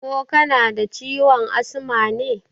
Ko kanada ciwon asma ne?